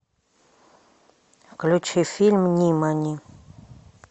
включи фильм нимани